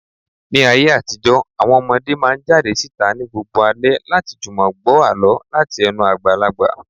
Ní ayé àtijó, àwọn ọmọdé máa ń jáde síta ní gbogbo alẹ́ láti jùmọ̀ gbọ́ àlọ́ láti ẹnu àgbàlagbà.